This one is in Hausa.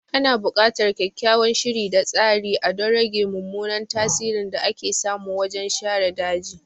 Ana bukatar kyakkyawan shiri da tsari a don rage mummunan tasirin da ake samu wajen share daji.